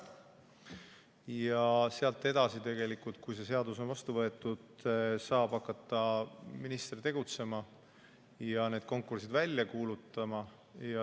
Ja sealt edasi, kui see seadus on vastu võetud, saab hakata minister tegutsema ja need konkursid välja kuulutada.